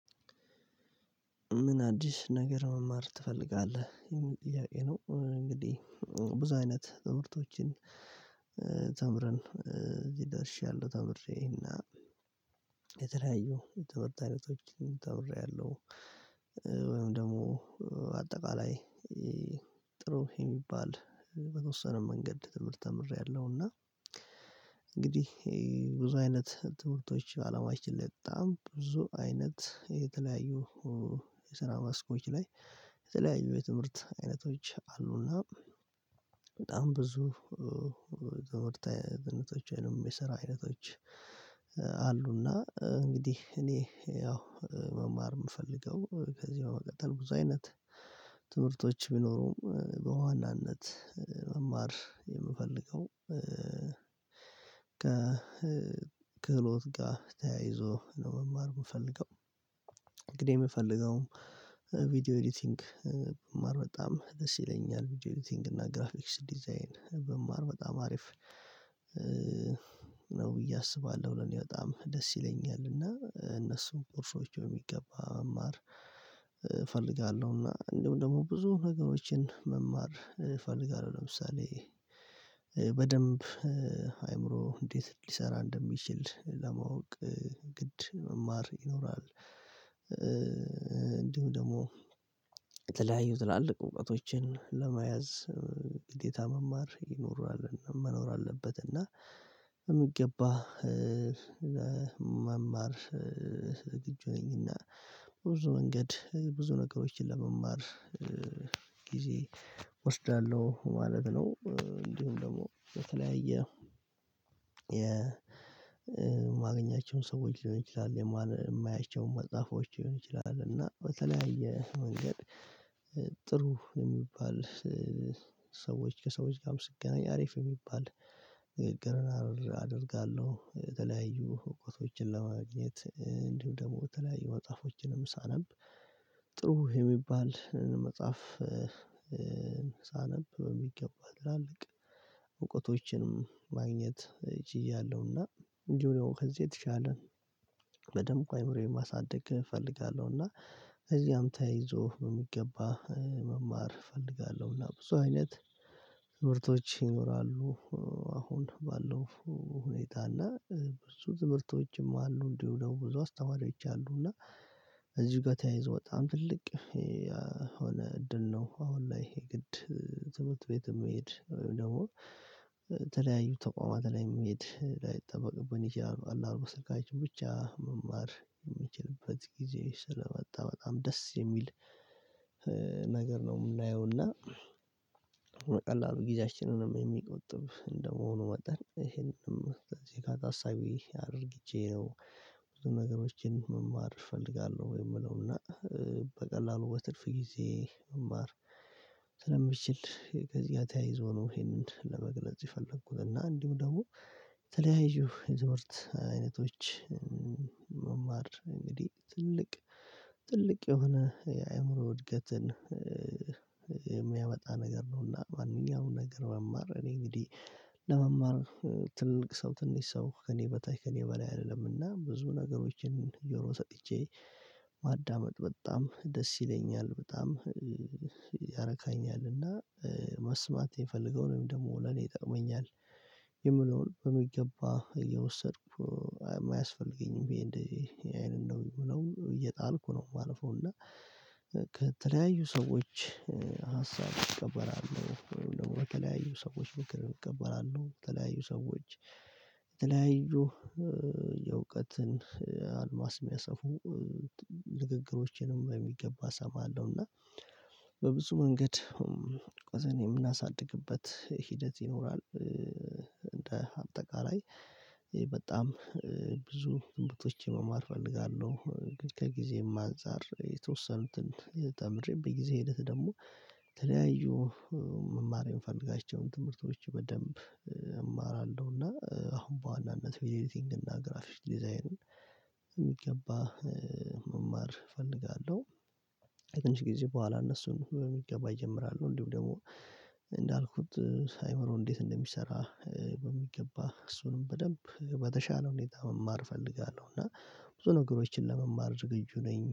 ምን አዲስ ነገር መማር ትፈልጋለህ? የምን ጥያቄ ነው እንግዲህ ብዙ አይነት ትምህርቶችን ተምረን እዚህ ደርሻለሁ ተምሬና የተለያዩ ትምህርት ተምሬአልሁ። ወይም ደግሞ አጠቃላይ ጥሩ የሚባል በተወሰነ መንገድ ትምህርት ተምሬያለሁ። እና ብዙ አይነት ትምህርቶች አላማችን ላይ በጣም ብዙ አይነት የተለያዩ የስራ ማስኮች ላይ የተለያዩ የትምህርት አይነቶች አሉና በጣም ብዙ የትምህርት የስራ አይነቶች አሉና እንግዲህ እኔ ያው መማር የምፈልገው ከዚያው ቀጠል ብዙ አይነት ትምህርቶች ቢኖሩም በዋናነት መማር የምፈልገው። ከክህሎት ጋር ተያይዞ መማር የምፈልገው እንግዲህ የምፈልገውን ቪዲዮ ኢዲቲንግ መማር በጣም ደስ ይለኛል ቪዲዮ ኢዲቲንግ እና ግራፊክስ ዲዛይን መማር በጣም አሪፍ ነው ብዬ አስባለሁ። ለኔ በጣም ደስ ይለኛል እነሱን ኮርሶቹ በሚገባ መማር እፈልጋለሁና እንደሁም ደግሞ ብዙ ነገሮችን መማር እፈልጋለሁ። ለምሳሌ በደንብ አእምሮ እንዴት ሊሰራ እንደሚችል ለማወቅ ግድ መማር ይኖራል። እንዲሁም ደግሞ የተለያዩ ትላልቅ እውቀቶችን ለመያዝ ግዴታ መማር ይኖራል መኖር አለበት እና በሚገባ መማር የግድ ነውና በብዙ መንገድ ብዙ ነገሮችን ለመማር እወስዳለሁ ማለት ነው። እንዲሁም ደግሞ በተለያየ የነግኛቸውንም ሰዎች ሊሆን ይችላል የማያቸውን መጽሐፎች ሊሆን ይችላል እና በተለያየ መንገድ ጥሩ የሚባል ሰዎች ከሰዎች ጋርም ስትገናኝ አሪፍ የሚባል ንግግር አደርጋለሁ። የተለያዩ ህጎቶችን ለማግኘት እንዲሁ ደግሞ በተለያዩ መጽሐፎችንም ሳነብ ጥሩ የሚባል መጽሐፍ ሳነብ በሚገባ ትላልቅ እውቀቶችንም ማግኘት ችያለሁ። እና እንጂ ሆኖ ከዚህ የተሻለ በደንብ አይምሮዬን ማሳደግ እፈልጋለሁ። እና እዚህም ተይዞ በሚገባ መማር እፈልጋለሁና ብዙ አይነት ትምህርቶች ይኖራሉ አሁን ባለው ሁኔታ እና ብዙ ትምህርቶችም አሉ እንዲሁ ብዙ አስተማሪዎችም አሉ እና እዚህ ጋር ተያይዞ በጣም ትልቅ የሆነ እድል ነው። አሁን ላይ ይሄ ግድ ዘውት ቤት የምሄድ ወይም ደግሞ ተለያዩ ተቋማት ላይ መሄድ ላይጠበቅብኝ ይችላል አነዳንዴ በስልካችን ብቻ መማር የሚችልበት ጊዜ ስለመጣ በጣም ደስ የሚል ነገር ነው። የምናየው እና በቀላሉ ጊዜያችንንም የሚቆጥብ እንደመሆኑ መጠን ይሄንንም የካታ አሳቢ አድርግቼ ነው ብዙ ነገሮችን መማር እፈልጋለሁ። የምለው እና በቀላሉ በትርፍ ጊዜ መማር ስለምችል ከዚህ ጋር ተያይዞ ነው ይሄንን ለመግለጽ የፈለግኩት እና እንዲሁ ደግሞ የተለያዩ የትምህርት አይነቶች መማር እንግዲህ ትልቅ ትልቅ የሆነ የአእምሮ እድገትን የሚያመጣ ነገር ነውና። ማንኛውም ነገር መማረር እኔ እንግዲህ ለመማር ትንቅ ሰው ትንሽ ሰው ከእኔ በታች ከእኔ በላይ አይደለምና ብዙ ነገሮችን ጆሮ ሰጥቼ ማዳመጥ በጣም ደስ ይለኛል በጣም ያረካኛል። መስማት የምፈልገውን ወይም ደግሞ ለኔ ይጠቀመኛል የምለውን በሚገባ እየወሰድኩ አያስፈልገኝም ብየ እንዴ ይሄን ነው የሚሆነው እየጣልኩ ነው የማልፈው እና ከተለያዩ ሰዎች ሀሳብ እቀበራለሁ ወይም ደግሞ ከተለያዩ ሰዎች ምክር እቀበላለሁ። በተለያዩ ሰዎች በተለያዩ የእውቀትን የሚያሰፉ ንግግሮችንም በሚገባ እሰማለሁ እና በብዙ መንገድ ቀዘን የምናሳድግበት ሂደት ይኖራል እንደ አጠቃላይ በጣም ብዙ ዝንብቶችን መማር እፈልጋለሁ። ግን ከጊዜም አንፃር የተወሰኑትን ተምድሬ በጊዜ ሂደት ደግሞ ተለያዩ መማር የምፈልጋቸውን ትምህርቶች በደንብ እማራለሁና። አሁን በዋናነት ቪዲዮ ኢዲቲንግ እና ግራፊክ ዲዛይን መማር እፈልጋለሁ። ከተንሽ ጊዜ በኋላ እነሱን በሚገባ እጀምራሉ እንዲሁ ደግሞ እንዳልኩት ሳይሆን እንዴት እንደሚሰራ በሚገባ እሱንም በደንብ በተሻለ ሁኔታ መማር እፈልጋለሁ። እና ብዙ ነገሮችን ለመማር ዝግጁ ነኝ